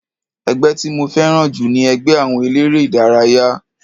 Ẹgbẹ́ tí mo fẹ́ràn jù ni ẹgbẹ́ àwọn eléré ìdárayá.